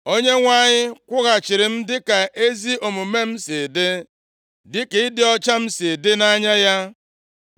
Onyenwe anyị kwụghachiri m dịka ezi omume m si dị, dịka ịdị ọcha m si dị nʼanya ya.